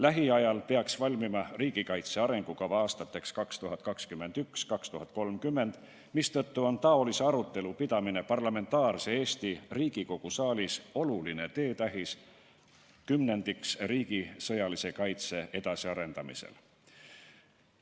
Lähiajal peaks valmima riigikaitse arengukava aastateks 2021–2030, mistõttu on selle arutelu pidamine parlamentaarse Eesti Riigikogu saalis oluline teetähis kümnendi jooksul riigi sõjalise kaitse edasiarendamisel.